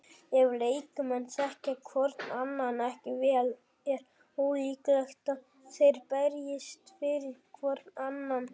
Ef leikmenn þekkja hvorn annan ekki vel er ólíklegt að þeir berjist fyrir hvorn annan.